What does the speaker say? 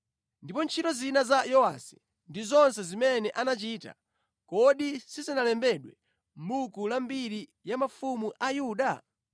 Ndipo ntchito zina za Yowasi ndi zonse zimene anachita, kodi sizinalembedwe mʼbuku la mbiri ya mafumu a Yuda?